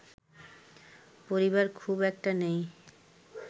পরিবার খুব একটা নেই